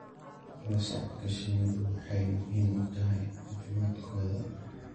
La socodka shinnidu waxay muhiim u tahay caafimaadkooda.